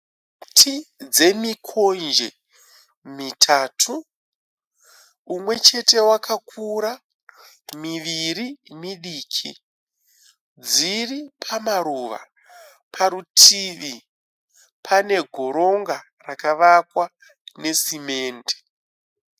Miti dzemikonje mitatu. Mumwechete wakakura miviri midiki. Dziri pamaruva. Parutivi pane goronga rakavakakwa nesimende.